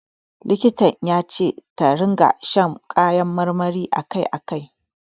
Likitan ya ce ta ringa shan kayan marmari a kai a kai.